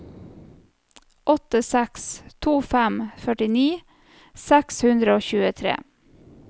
åtte seks to fem førtini seks hundre og tjuetre